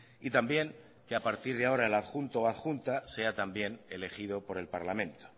y también que a partir de ahora el adjunto o adjunta sea también elegido por el parlamento